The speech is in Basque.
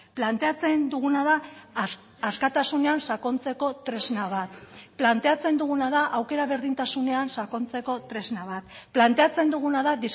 planteatzen duguna da askatasunean sakontzeko tresna bat planteatzen duguna da aukera berdintasunean sakontzeko tresna bat planteatzen duguna da